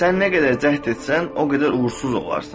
Sən nə qədər cəhd etsən, o qədər uğursuz olarsan.